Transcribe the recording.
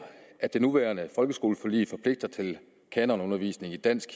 at det nuværende folkeskoleforlig forpligter til kanonundervisning i dansk